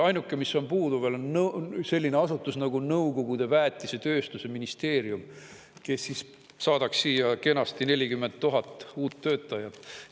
Ainuke, mis on veel puudu, on selline asutus nagu nõukogude väetisetööstuse ministeerium, kes siis saadaks siia kenasti 40 000 uut töötajat.